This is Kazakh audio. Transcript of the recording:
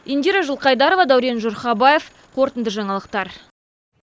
индира жылқайдарова дәурен жұрхабаев қорытынды жаңалықтар